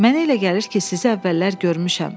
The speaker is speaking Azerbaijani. Mənə elə gəlir ki, sizə əvvəllər görmüşəm.